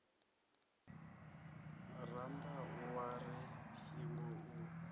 rambau wa ri singo u